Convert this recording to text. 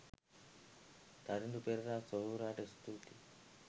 තරිඳු පෙරේරා සොහොයුරාට ස්තූතියි.